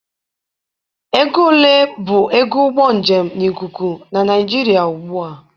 Ego ole bụ ego ụgbọ njem na ikuku na Naịjiria ugbu a?